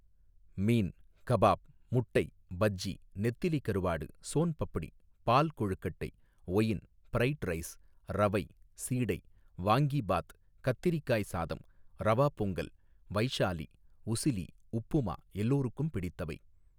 மீன் kebab முட்டை பஜ்ஜி நெத்திலி கருவாடு ஸோன் பப்டி பால் கொழுக்கட்டை ஒயின் ப்ரைட் ரைஸ் ரவை சீடை வாங்கீ பாத் கத்திரிக்காய் சாதம் ரவா பொங்கல் வைஷாலி உசிலி உப்புமா எல்லாருக்கும் பிடித்தவை.